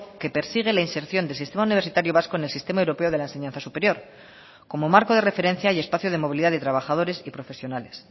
que persigue la inserción del sistema universitario vasco en el sistema europeo de la enseñanza superior como marco de referencia y espacio de movilidad de trabajadores y profesionales